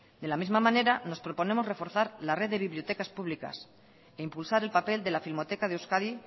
de la misma manera nos proponemos reforzar la red de bibliotecas públicas e impulsar el papel de la filmoteca de euskadi